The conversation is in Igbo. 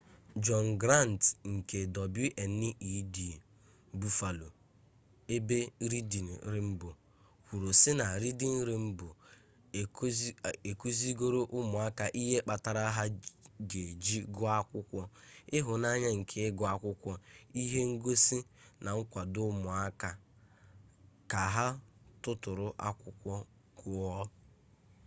john grant nke wned buffaloebe reading rainbow kwuru si na reading rainbow ekuzigoro umuaka ihe kpatara ha ga eji guo akwukwo ...ihunanya nke igu akwukwo -[ihe ngosi] na-akwado umuaka ka ha tuturu akwukwo guo.